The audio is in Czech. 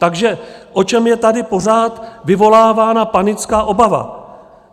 Takže o čem je tady pořád vyvolávána panická obava?